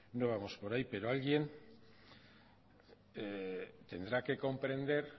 no vamos por ahí pero alguien tendrá que comprender